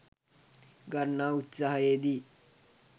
ගන්නා උත්සාහයේ දී